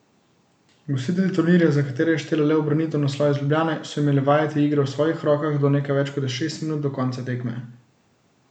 Gostitelji turnirja, za katere je štela le ubranitev naslova iz Ljubljane, so imeli vajeti igre v svojih rokah do nekaj več kot šest minut do konca tekme.